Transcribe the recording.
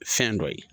Fɛn dɔ ye